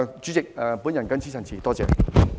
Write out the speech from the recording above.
主席，我謹此陳辭，多謝。